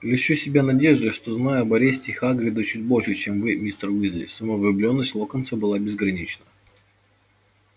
льщу себя надеждой что знаю об аресте хагрида чуть больше чем вы мистер уизли самовлюблённость локонса была безгранична